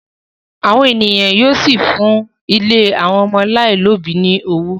àwọn ènìyàn yíò sí fún ílé àwọn ọmọ alailòbí ní ọwọ.